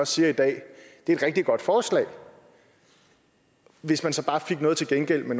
siger i dag at det er et rigtig godt forslag hvis man så bare får noget til gengæld